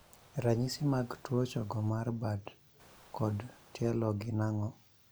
Ranyisi mag tuo chogo mar bad kod tielo gin ang'o?